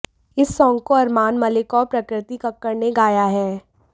इस सांग को अरमान मलिक और प्रकृति कक्कड़ ने गया है